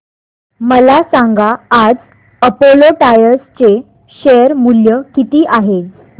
मला सांगा आज अपोलो टायर्स चे शेअर मूल्य किती आहे